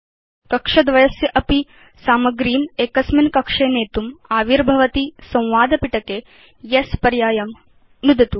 कक्षद्वयस्य अपि सामग्रीम् एकस्मिन् कक्षे नेतुम् आविर्भवति संवादपिटके येस् पर्यायं नुदतु